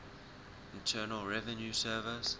internal revenue service